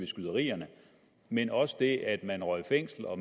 skyderierne men også det at man røg i fængsel og